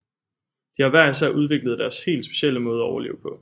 De har hver især udviklet deres helt specielle måde at overleve på